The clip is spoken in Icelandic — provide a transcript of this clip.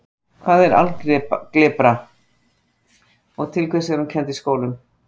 Hvað er algebra og til hvers er hún kennd í skólum?